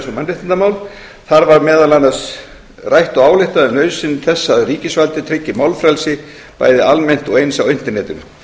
mannréttindamál þar var meðal annars rætt og ályktað um nauðsyn þess að ríkisvaldið tryggi málfrelsi bæði almennt og eins á internetinu